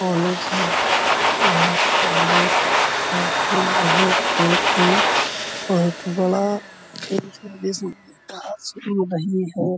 College है। यह college का फील्ड है जो कि बहुत बड़ा --